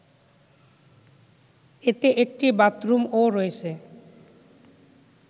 এতে একটি বাথরুমও রয়েছে